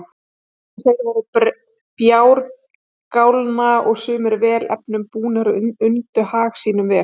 En þeir voru bjargálna og sumir vel efnum búnir og undu hag sínum vel.